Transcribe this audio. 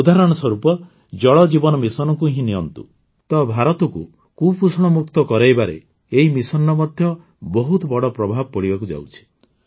ଉଦାହରଣ ସ୍ୱରୂପ ଜଳ ଜୀବନ ମିଶନକୁ ହିଁ ନିଅନ୍ତୁ ତ ଭାରତକୁ କୁପୋଷଣମୁକ୍ତ କରାଇବାରେ ଏହି ମିଶନର ମଧ୍ୟ ବହୁତ ବଡ଼ ପ୍ରଭାବ ପଡ଼ିବାକୁ ଯାଉଛି